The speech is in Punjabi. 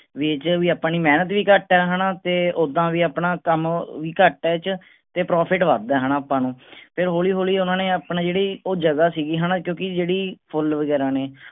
ਆਪਣੀ ਮੇਹਨਤ ਵੀ ਘਟ ਆ ਹੈਨਾ ਤੇ ਉਦਾਂ ਵੀ ਆਪਣਾ ਕੰਮ ਵੀ ਘਟ ਆ ਇਹ ਚ ਤੇ ਵੱਧ ਆ ਹੈਨਾ ਆਪਾਂ ਨੂੰ ਤੇ ਹੌਲੀ ਹੌਲੀ ਓਹਨਾ ਨੇ ਆਪਣੀ ਜਿਹੜੀ ਉਹ ਜਗ੍ਹਾ ਸੀਗੀ ਹੈਨਾ ਕਿਉਂਕਿ ਜਿਹੜੇ ਫੁੱਲ ਵਗੈਰਾ ਨੇ